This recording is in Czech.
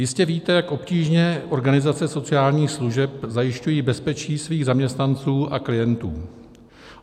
Jistě víte, jak obtížně organizace sociálních služeb zajišťují bezpečí svých zaměstnanců a klientů.